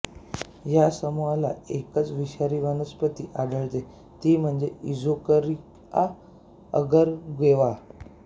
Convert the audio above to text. या समूहात एकच विषारी वनस्पती आढळते ती म्हणजे इक्झोकरीआ अगर गेवा